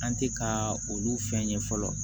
An tɛ ka olu fɛn ye fɔlɔ